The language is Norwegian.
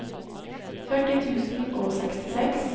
førti tusen og sekstiseks